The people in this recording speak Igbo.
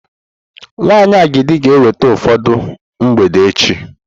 Nwanyị agidi ga-eweta ụfọdụ mgbede echi.